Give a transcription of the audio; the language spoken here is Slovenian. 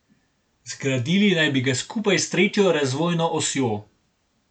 Zgradili naj bi ga skupaj s tretjo razvojno osjo.